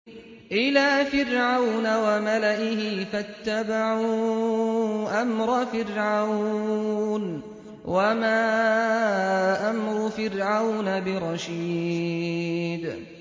إِلَىٰ فِرْعَوْنَ وَمَلَئِهِ فَاتَّبَعُوا أَمْرَ فِرْعَوْنَ ۖ وَمَا أَمْرُ فِرْعَوْنَ بِرَشِيدٍ